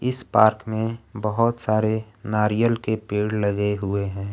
इस पार्क में बहोत सारे नारियल के पेड़ लगे हुए हैं।